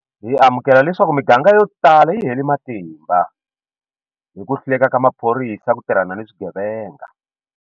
Hi amukela leswaku miganga yotala yi hele matimba hi ku hluleka ka maphorisa ku tirhana ni swigevenga.